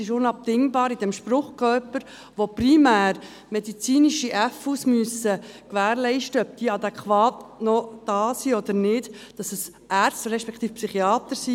Es ist für diesen Spruchkörper, der primär medizinisch gewährleisten muss, ob fürsorgerische Unterbringungen (FU) noch adäquat sind oder nicht, unabdingbar, dass es Ärzte respektive Psychiater sind.